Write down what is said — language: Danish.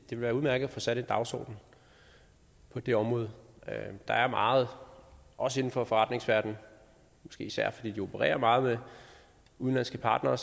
være udmærket at få sat en dagsorden på det område der er meget også inden for forretningsverdenen måske især fordi de opererer meget med udenlandske partnere